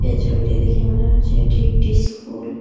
ছবিটি দেখে মনে হচ্ছে এটি একটি স্কুল ।